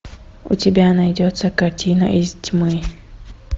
у тебя найдется картина из тьмы